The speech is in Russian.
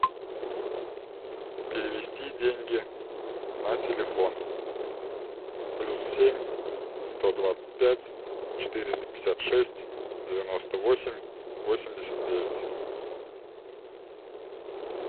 перевести деньги на телефон плюс семь сто двадцать пять четыреста пятьдесят шесть девяносто восемь восемьдесят девять